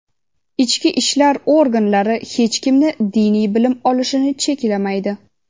Ichki ishlar organlari hech kimni diniy bilim olishini cheklamaydi.